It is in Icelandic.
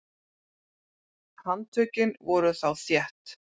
Handtökin voru þá þétt.